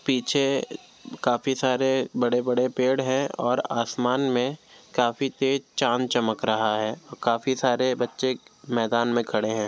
पीछे काफी सारे बड़े-बड़े पेड़ है और आसमान में काफी तेज चाँद चमक रहा है और काफी सारे बच्चे मैदान में खड़े हैं।